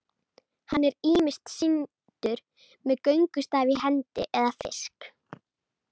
Hann er ýmist sýndur með göngustaf í hendi eða fisk.